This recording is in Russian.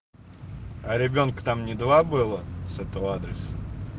а ребёнка то мне два было с этого адреса